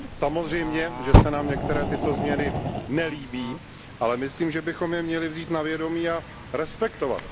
Samozřejmě, že se nám některé tyto změny nelíbí, ale myslím, že bychom je měli vzít na vědomí a respektovat.